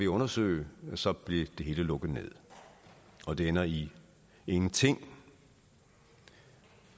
undersøge så blev det hele lukket ned og det ender i ingenting